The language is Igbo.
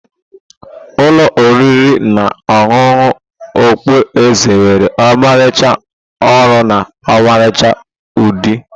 Ụlọ oriri na ọṅụṅụ okpu eze nwere ọmarịcha ọrụ na ọmarịcha udi.